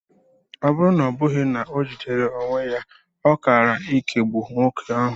Ọ bụrụ na ọ bụghị na o jidere onwe ya, ọ kaara ikugbu nwoke ahụ.